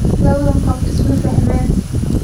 Labadan qof isma fahmaan.